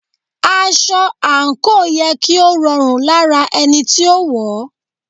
Aṣọ àǹkóò yẹ kí ó rọrùn lára ẹni tí ó wọ̀ọ́.